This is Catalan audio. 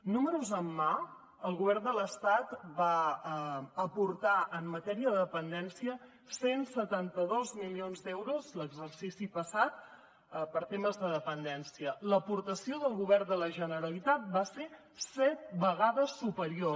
números en mà el govern de l’estat va aportar en matèria de dependència cent i setanta dos milions d’euros l’exercici passat per temes de dependència l’aportació del govern de la generalitat va ser set vegades superior